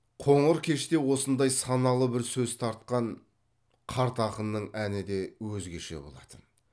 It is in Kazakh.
қоңыр кеште осындай саналы бір сөз тартқан қарт ақынның әні де өзгеше болатын